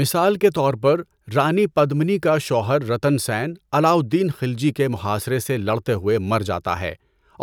مثال کے طور پر، رانی پدمنی کا شوہر رتن سین علاء الدین خلجی کے محاصرے سے لڑتے ہوئے مر جاتا ہے،